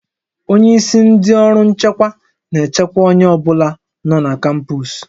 Onye isi ndị ọrụ nchekwa na-echekwa onye ọ bụla nọ na kampọs